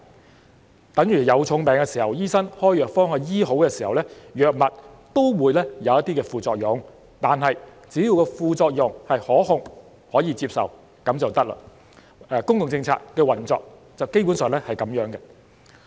這便等於有重病時，醫生開藥方治好，藥物也會有副作用，但是，只要副作用是可控和可接受便可以，公共政策的運作基本上也是這樣。